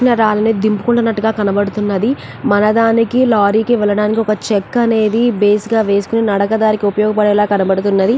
రాళ్ళని దింపుతున్నట్టుగా కనబడుతున్నది. మన దానికి లారీ కి వెళ్ళడానికి ఒక చెక్క అనేది బేస్ గా వేసుకుని నడక దారికి ఉపయోగపడేలా కనబడుతున్నది.